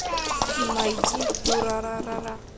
найди дюрарара